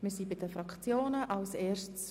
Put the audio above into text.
Wir kommen zu den Fraktionsvoten.